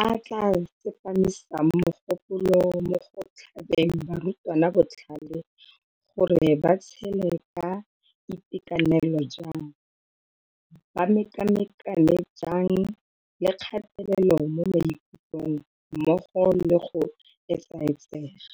a a tla tsepamisang mogopolo mo go tlhabeng barutwana botlhale gore ba tshele ka itekanelo jang, ba mekamekane jang le kgatelelo mo maikutlong mmogo le go etsaetsega.